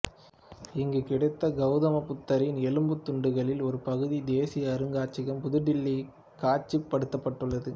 இங்கு கிடைத்த கௌத புத்தரின் எலும்புத் துண்டுகளின் ஒரு பகுதி தேசிய அருங்காட்சியகம் புது டில்லியில் காட்சிப்படுத்தப்பட்டுள்ளது